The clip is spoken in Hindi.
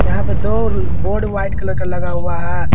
यहां पे दो बोर्ड व्हाइट कलर का लगा हुआ है।